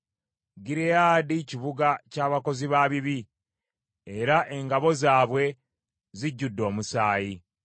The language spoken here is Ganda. Gireyaadi kibuga ky’abakozi ba bibi, era engalo zaabwe zijjudde omusaayi.